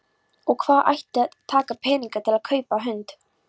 Og hvaðan ætti að taka peninga til að kaupa hund?